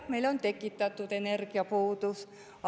Jah, meil on tekitatud energiapuudus.